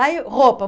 Aí, roupa.